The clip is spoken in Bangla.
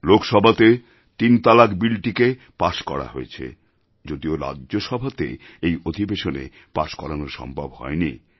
লোকসভাতে তিন তালাক বিলটিকে পাস করা হয়েছে যদিও রাজ্যসভাতে এই অধিবেশনে পাস করানো সম্ভব হয়নি